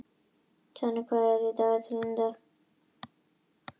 Tonni, hvað er í dagatalinu í dag?